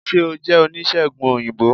se o jẹ onisegùn oyinbo?